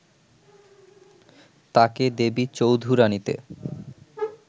তাকে দেবী চৌধুরাণীতে